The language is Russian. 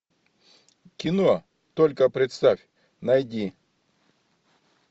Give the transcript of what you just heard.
кино только представь найди